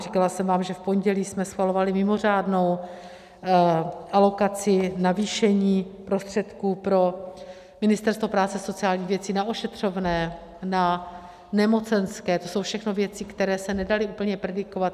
Říkala jsem vám, že v pondělí jsme schvalovali mimořádnou alokaci navýšení prostředků pro Ministerstvo práce a sociálních věcí na ošetřovné, na nemocenské, to jsou všechno věci, které se nedaly úplně predikovat.